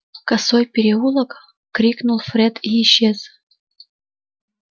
косой переулок крикнул фред и исчез